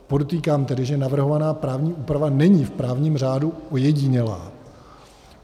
Podotýkám tedy, že navrhovaná právní úprava není v právním řádu ojedinělá.